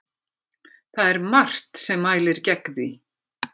Það er margt sem mælir gegn því.